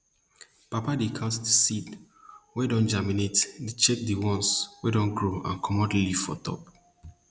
papa dey count di seed wey don germinate dey check di ones wey don grow and comot leaf for top